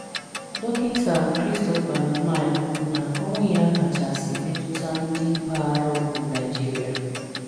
Dokịnta Christopher Lamai kwuru na-ọnwụ ya kachasi metụta ndi mpaghara ụgwụ Naijịrịa